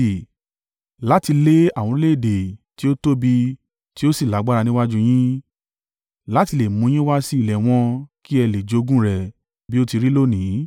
Láti lé àwọn orílẹ̀-èdè tí ó tóbi tí ó sì lágbára níwájú yín; láti le è mú un yín wá sí ilẹ̀ wọn kí ẹ lè jogún rẹ̀ bí ó ti rí lónìí.